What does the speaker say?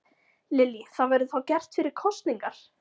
Lillý: Það verður þá gert fyrir kosningar?